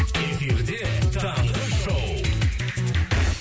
эфирде таңғы шоу